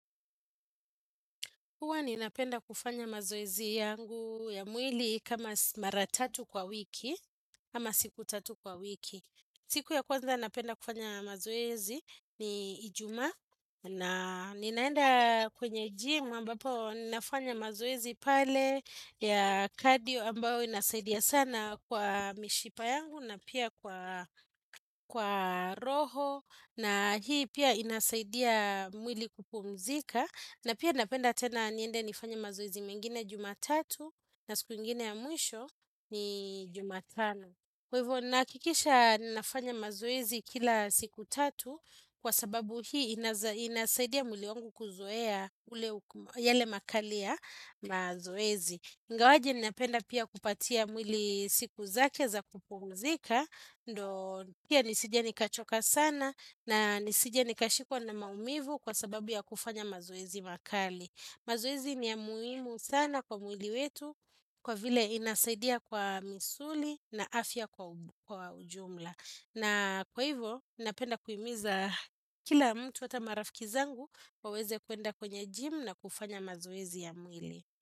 Huwa ninapenda kufanya mazoezi yangu ya mwili kama mara tatu kwa wiki, ama siku tatu kwa wiki. Siku ya kwanza napenda kufanya mazoezi ni ijuma na ninaenda kwenye gym ambapo nafanya mazoezi pale ya cardio ambayo inasaidia sana kwa mishipa yangu na pia kwa roho. Na hii pia inasaidia mwili kupumzika na pia napenda tena niende nifanye mazoezi mengine jumatatu na siku ingine ya mwisho ni jumatano. Kwa hivyo nahakikisha ninafanya mazoezi kila siku tatu Kwa sababu hii inasaidia mwili wangu kuzoea ule yale makali ya mazoezi. Ingawaje ninapenda pia kupatia mwili siku zake za kupumzika ndo pia nisije nikachoka sana na nisije nikashikwa na maumivu kwa sababu ya kufanya mazoezi makali mazoezi ni ya muhimu sana kwa mwili wetu kwa vile inasaidia kwa misuli na afya kwa ujumla na kwa hivo napenda kuhimiza kila mtu hata marafiki zangu waweze kuenda kwenye gym na kufanya mazoezi ya mwili.